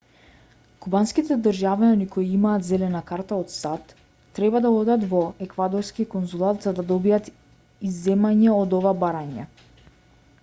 кубанските државјани кои имаат зелена карта од сад треба да одат во еквадорски конзулат за да добијат изземање од ова барање